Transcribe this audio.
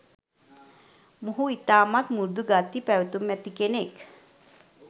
මොහු ඉතාමත් මෘදු ගති පැවැතුම් ඇති කෙනෙක්.